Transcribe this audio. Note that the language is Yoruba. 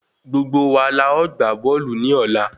Gbogbo wa la ọ gbà bóòlù ni ola